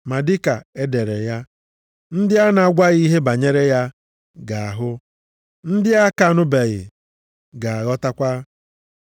ma dịka e dere ya, “Ndị a na-agwaghị ihe banyere ya ga-ahụ, ndị a ka anụbeghị, ga-aghọtakwa.” + 15:21 \+xt Aịz 52:15\+xt*